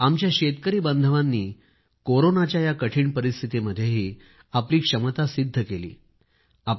आमच्या शेतकरी बांधवांनी कोरोनाच्या या कठिण परिस्थितीमध्येही आपली क्षमता सिद्ध केली आहे